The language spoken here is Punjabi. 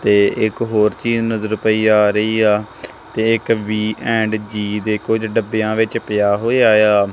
ਤੇ ਇੱਕ ਹੋਰ ਚੀਜ਼ ਨਜ਼ਰ ਪਈ ਆ ਰਹੀ ਆ ਤੇ ਇੱਕ ਵੀ ਐਂਡ ਜੀ ਦੇ ਕੁਝ ਡੱਬਿਆਂ ਵਿੱਚ ਪਿਆ ਹੋਇਆ ਏ ਆ।